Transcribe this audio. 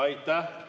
Aitäh!